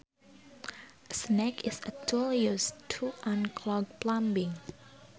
A snake is a tool used to unclog plumbing